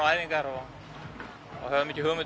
æfingar og höfðum ekki hugmynd